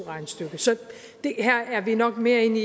her er vi nok mere inde